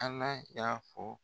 Ala y'a fɔ